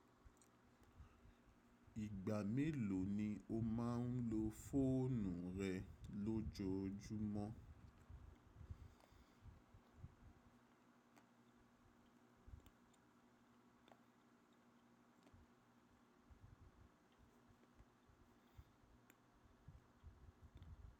Ìgbà mélòó ni o máa ń lo fóònù rẹ lójoojúmọ́?